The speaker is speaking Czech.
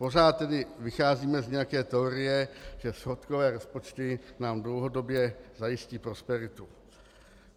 Pořád tedy vycházíme z nějaké teorie, že schodkové rozpočty nám dlouhodobě zajistí prosperitu.